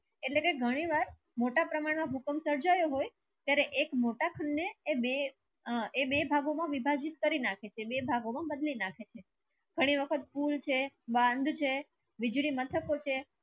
એટલા કે ઘની વાર મોટા પ્રમાન મા ભૂકંપ સરજાઓ હોય કે ત્યારે એક મોટા પૂલ ને એ બે એ બે ભાગો મા વિભાજીત કરી નાખે છે બે ભાગો ને બદલી નાખે છ ઘની વક્ત પૂલ છે બંધ છે વીજળી મસ્તક છે